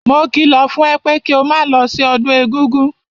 Mo kìlọ̀ fún ẹ pé kí o máa lọ sí ọdún egúngún!